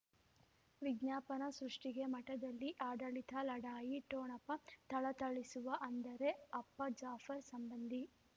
ವಿಜ್ಞಾಪನೆ ಸೃಷ್ಟಿಗೆ ಮಠದಲ್ಲಿ ಆಡಳಿತ ಲಢಾಯಿ ಠೊಣಪ ಥಳಥಳಿಸುವ ಅಂದರೆ ಅಪ್ಪ ಜಾಫರ್ ಸಂಬಂಧಿ